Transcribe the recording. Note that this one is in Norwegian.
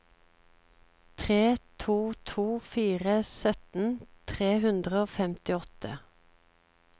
tre to to fire sytten tre hundre og femtiåtte